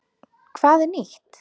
Hvað er nýtt?